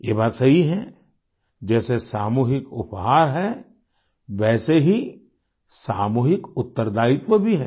ये बात सही है जैसे सामूहिक उपहार है वैसे ही सामूहिक उत्तरदायित्व भी है